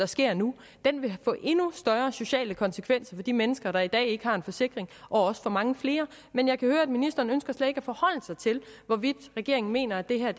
sker nu vil få endnu større sociale konsekvenser for de mennesker der i dag ikke har en forsikring og også for mange flere men jeg kan høre at ministeren slet ikke ønsker at forholde sig til hvorvidt regeringen mener at det her